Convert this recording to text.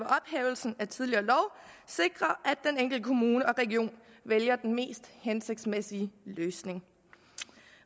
ved tidligere lov sikrer at den enkelte kommune og region vælger den mest hensigtsmæssige løsning